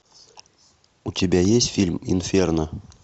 у тебя есть фильм инферно